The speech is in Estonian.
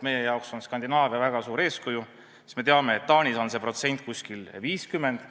Meie jaoks on Skandinaavia väga suur eeskuju, me teame, et Taanis on see protsent umbes 50.